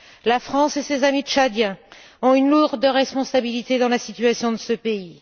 La France et ses amis tchadiens portent une lourde responsabilité dans la situation de ce pays.